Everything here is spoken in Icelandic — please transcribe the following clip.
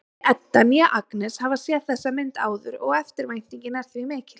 Hvorki Edda né Agnes hafa séð þessa mynd áður og eftirvæntingin er því mikill.